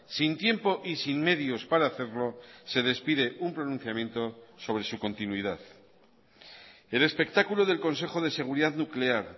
sin tiempo y sin medios para hacerlo se despide un pronunciamiento sobre su continuidad el espectáculo del consejo de seguridad nuclear